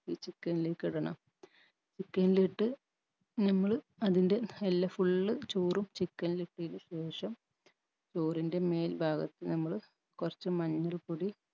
ഈ chicken ലേക്കിടണം chicken ലിട്ട് നമ്മള് അതിൻറെ എല്ല full ചോറും chicken ൽ ഇട്ടയ്ന് ശേഷം ചോറിൻറെ മേൽഭാഗത്ത് നമ്മള് കൊർച്ച് മഞ്ഞൾപൊടി